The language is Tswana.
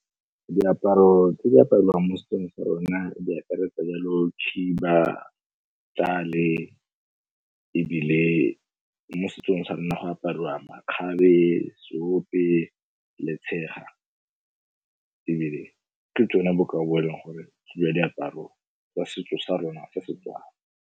Diaparo tse di apariwang mo setsong sa rona di akaretsa yalo khiba, tjale, ebile mo setsong sa rona go apariwa makgabe, seope le tshega, ebile ke tsone bokao bo eleng gore ke jwa diaparo tsa setso sa rona sa Setswana.